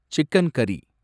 chicken கரி